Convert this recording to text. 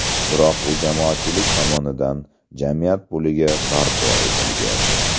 Biroq u jamoatchilik tomonidan, jamiyat puliga barpo etilgan.